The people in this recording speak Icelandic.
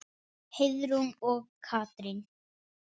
Heiðrún og Katrín.